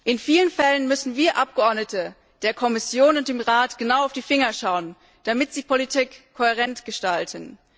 In vielen Fällen müssen wir Abgeordnete der Kommission und dem Rat genau auf die Finger schauen, damit sie Politik kohärent gestalten.